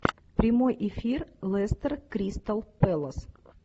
прямой эфир лестер кристал пэлас